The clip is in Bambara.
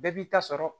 Bɛɛ b'i ta sɔrɔ